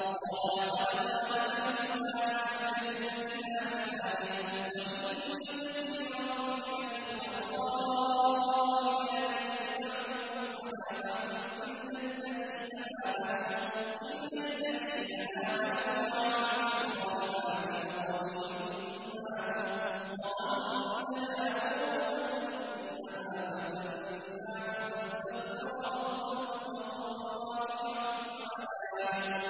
قَالَ لَقَدْ ظَلَمَكَ بِسُؤَالِ نَعْجَتِكَ إِلَىٰ نِعَاجِهِ ۖ وَإِنَّ كَثِيرًا مِّنَ الْخُلَطَاءِ لَيَبْغِي بَعْضُهُمْ عَلَىٰ بَعْضٍ إِلَّا الَّذِينَ آمَنُوا وَعَمِلُوا الصَّالِحَاتِ وَقَلِيلٌ مَّا هُمْ ۗ وَظَنَّ دَاوُودُ أَنَّمَا فَتَنَّاهُ فَاسْتَغْفَرَ رَبَّهُ وَخَرَّ رَاكِعًا وَأَنَابَ ۩